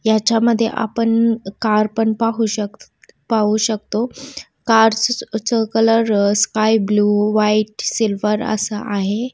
याच्या मधे आपण कार पन पाहू शक पाहू शकतो. कार्स चा कलर स्काइ-ब्लू व्हाइट सिल्वर असा आहे.